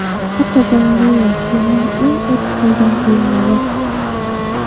Fotogalereya: Yilning eng urf bo‘lgan kiyimlari.